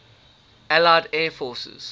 allied air forces